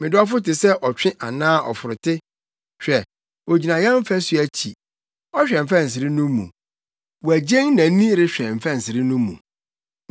Me dɔfo te sɛ ɔtwe anaa ɔforote. Hwɛ! ogyina yɛn fasu akyi, ɔhwɛ mfɛnsere no mu, wagyen nʼani rehwɛ mfɛnsere no mu.